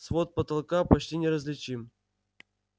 свод потолка почти неразличим